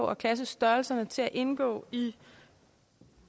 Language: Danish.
og klassestørrelserne til at indgå i